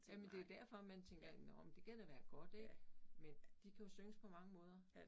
Jamen det jo derfor man tænker nåh men det kan da være godt ik men de kan jo synges på mange måder